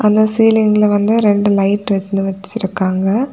இந்த சீலிங்ல வந்து ரெண்டு லைட் வந்து வெச்சிருக்காங்க.